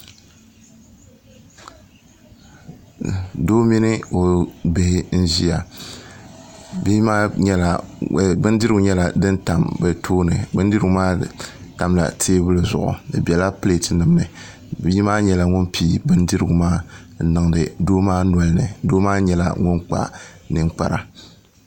Doo mini o bihi n ziya bin dirigu nyɛla din tam bɛ tooni bi dirigu maa nyɛla din tam tɛɛbuli zuɣu di bɛla pileeti ninni bii maa nyɛla ŋun pii bin dirigu maa n niŋdi doo maa nolini doo maa nyɛla ŋun kpa niŋkpara